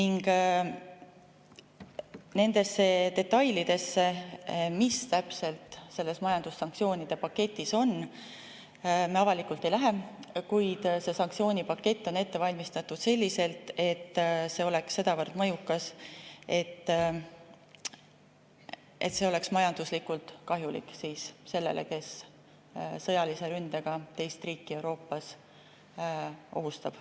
Nendesse detailidesse, mis täpselt selles majandussanktsioonide paketis on, me avalikult ei lähe, kuid sanktsioonipakett on ette valmistatud selliselt, et see oleks sedavõrd mõjukas, et see oleks majanduslikult kahjulik sellele, kes sõjalise ründega teist riiki Euroopas ohustab.